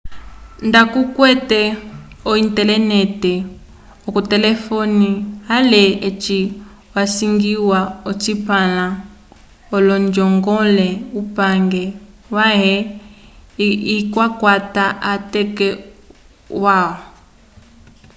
nda kukwete o-intelenete k'otelefone ale eci asiñgiwa ocipãla l'onjongole upange wãhe ikakwata atateko alwa